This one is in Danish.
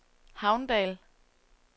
Havndal